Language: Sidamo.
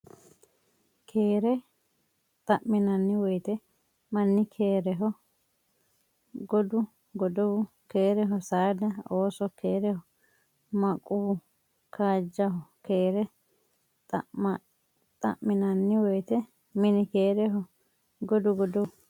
Keere xa minanni woyte Mini keereho Gogu godowu keereho saada ooso keereho maquu kaajjaho Keere xa minanni woyte Mini keereho Gogu godowu.